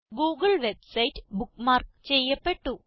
Google website bookmark ചെയ്യപ്പെട്ടു